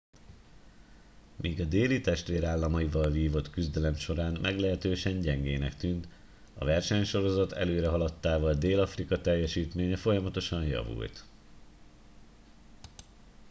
míg a déli testvérállamaival vívott küzdelem során meglehetősen gyengének tűnt a versenysorozat előrehaladtával dél afrika teljesítménye folyamatosan javult